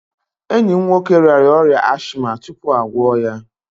Enyi m nwoke rịara ọrịa ashịma tupu a gwọ ya.